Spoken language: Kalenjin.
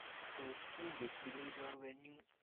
tos inget ile i chorwenyu?